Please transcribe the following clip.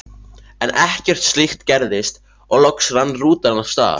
En ekkert slíkt gerðist og loks rann rútan af stað.